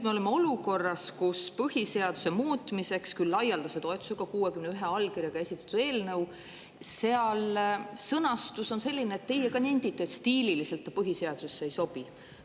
Me oleme olukorras, kus põhiseaduse muutmiseks, küll laialdase toetusega, 61 allkirjaga esitatud eelnõu sõnastus on selline, nagu te ka nendite, et stiililiselt see põhiseadusesse ei sobi.